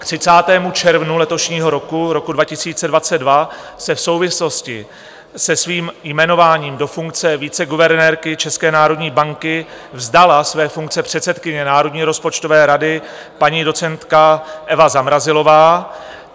K 30. červnu letošního roku, roku 2022, se v souvislosti se svým jmenováním do funkce viceguvernérky České národní banky vzdala své funkce předsedkyně Národní rozpočtové rady paní docentka Eva Zamrazilová.